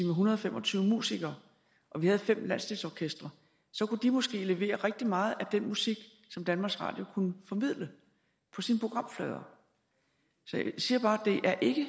en hundrede og fem og tyve musikere og vi havde fem landsdelsorkestre så kunne de måske levere rigtig meget af den musik som danmarks radio kunne formidle på sine programflader jeg siger bare at det ikke